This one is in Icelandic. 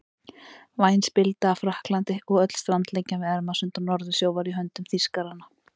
Væn spilda af Frakklandi og öll strandlengjan við Ermarsund og Norðursjó var í höndum Þýskaranna.